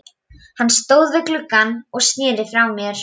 Hann stóð við gluggann og sneri frá mér.